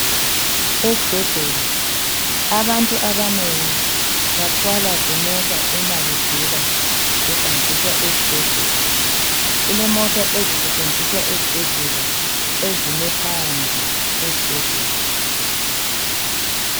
Esibhedlela abantu abanengi bathwalwa zimota uma begula behanjiswa esibhedlela. Kulemota ezisetshenziswa esibhedlela ezime phandle kwesibhedlela.